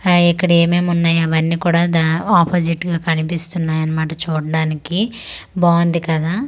అయి ఇక్కడ ఏమేం ఉన్నాయి అవన్నీ కూడా దా అపొజిట్ గా కనిపిస్తున్నాయి అన్నమాట చూడ్డానికి బాగుంది కదా.